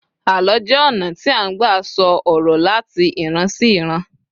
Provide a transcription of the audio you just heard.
àlọ jé ona ti a n gba sọ ọrọ lati ìran sí iran